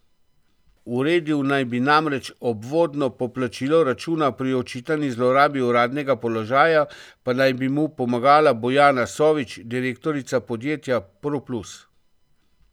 Uredil naj bi namreč obvodno poplačilo računa, pri očitani zlorabi uradnega položaja pa naj bi mu pomagala Bojana Sovič, direktorica podjetja Proplus.